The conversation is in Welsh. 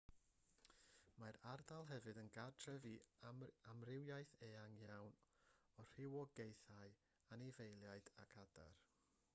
mae'r ardal hefyd yn gartref i amrywiaeth eang iawn o rywogaethau anifeiliaid ac adar